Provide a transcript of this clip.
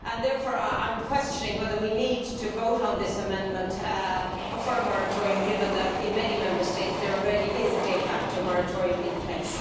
Therefore, I am questioning whether we need to vote on this amendment for a moratorium, given that in many Member States there already is a de facto moratorium in place.